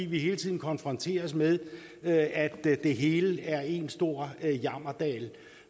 vi hele tiden konfronteres med at det hele er én stor jammerdal